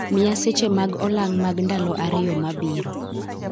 Miya seche mag olang' mag ndalo ariyo mabiro